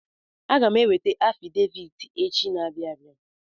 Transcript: Aga m eweta afidevit echi na-abịa abia.